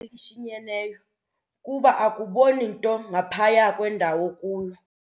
elishinyeneyo kuba akuboni nto ngaphaya kwendawo okuyo.